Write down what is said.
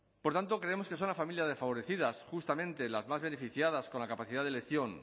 por tanto creemos que son las familias desfavorecidas justamente las más beneficiadas con la capacidad de elección